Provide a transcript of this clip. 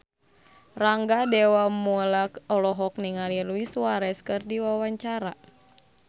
Rangga Dewamoela olohok ningali Luis Suarez keur diwawancara